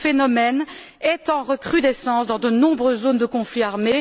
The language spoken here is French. Ce phénomène est en recrudescence dans de nombreuses zones de conflit armé.